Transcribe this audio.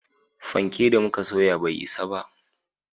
Fanke da muka soya bai isa ba